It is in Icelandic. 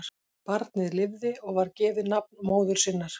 Barnið lifði og var gefið nafn móður sinnar.